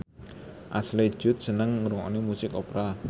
Ashley Judd seneng ngrungokne musik opera